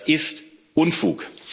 Das ist Unfug!